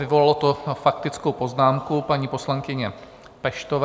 Vyvolalo to faktickou poznámku paní poslankyně Peštové.